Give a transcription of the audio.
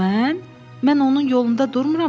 Mən onun yolunda durmuram axı?